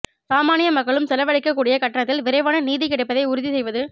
சாமானிய மக்களும் செலவழிக்கக் கூடிய கட்டணத்தில் விரைவான நீதி கிடைப்பதை உறுதி செய்வது